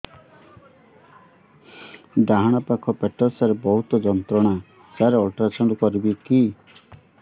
ଡାହାଣ ପାଖ ପେଟ ସାର ବହୁତ ଯନ୍ତ୍ରଣା ସାର ଅଲଟ୍ରାସାଉଣ୍ଡ କରିବି କି